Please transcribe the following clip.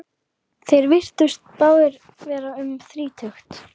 Þeir virtust báðir vera um þrítugt.